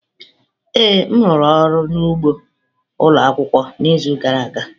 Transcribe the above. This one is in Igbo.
Ee m rụrụ ọrụ n'ugbo ụlọ akwụkwọ n'izu gara aga.